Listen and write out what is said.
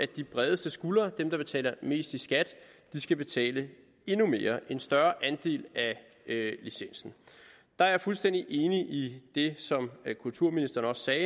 de bredeste skuldre det der betaler mest i skat skal betale endnu mere og en større andel af licensen der er jeg fuldstændig enig i det som kulturministeren sagde